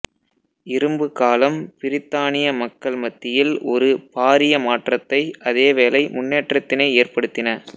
இரும்பு காலம் பிரித்தானிய மக்கள் மத்தியில் ஒரு பாரிய மாற்றத்தை அதேவேளை முன்னேற்றத்தினை ஏற்படுத்தின